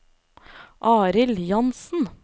Arild Jansen